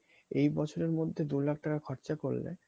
এই বছরের মধ্যে দু লাখ টাকা খরচা করে দাও